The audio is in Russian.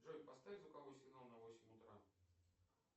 джой поставь звуковой сигнал на восемь утра